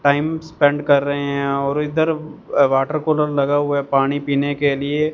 time spend कर रे हैं और इधर वाटर कूलर लगा हुआ है पानी पीने के लिए--